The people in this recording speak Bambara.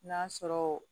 N'a sɔrɔ